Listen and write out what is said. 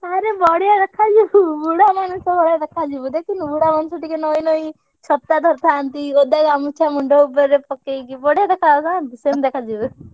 ଆରେ ବଢିଆ ଦେଖାଯିବୁ ଶୁଣୁ ବୁଢାମଣିଷ ଭଳିଆ ଦେଖାଯିବୁ ଦେଖିନୁ ବୁଢା ମଣିଷ ଟିକେ ନଇଁ ନଇଁ ଛତା ଧରିଥାନ୍ତି, ଓଦା ଗାମୁଛା ମୁଣ୍ଡ ଉପରେ, ପକେଇକି ବଢିଆ ଦେଖାଯାଉନାହାନ୍ତି ସେମିତି ଦେଖାଯିବୁ।